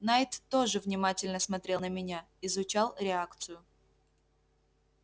найд тоже внимательно смотрел на меня изучал реакцию